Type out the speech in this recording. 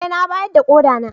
Eh na bayar da koda na.